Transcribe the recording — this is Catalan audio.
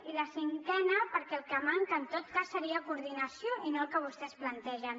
i el cinquè perquè el que manca en tot cas seria coordinació i no el que vostès plantegen